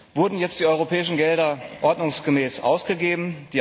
Wurden jetzt die europäischen Gelder ordnungsgemäß ausgegeben?